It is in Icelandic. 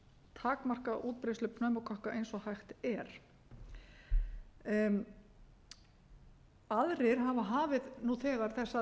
takmarka útbreiðslu pneumókokka eins og hægt er aðrir hafa hafið nú þegar þessar